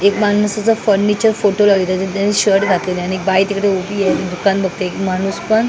एक माणसाचा furniture photo लागेल त्याने शर्ट घातलेलं आणि एक बाई तिकडे उभी आहे दुकान बघते एक माणूस पण--